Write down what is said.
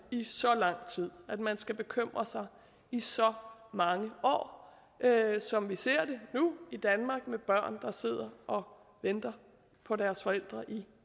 i så lang tid at man skal bekymre sig i så mange år som vi ser det nu i danmark med børn der sidder og venter på deres forældre i